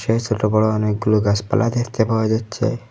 এই সোটো বড়ো অনেকগুলো গাসপালা দেখতে পাওয়া যাচ্ছে।